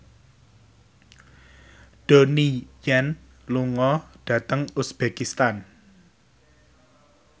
Donnie Yan lunga dhateng uzbekistan